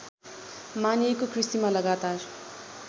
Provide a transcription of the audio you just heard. मानिएको कृषिमा लगातार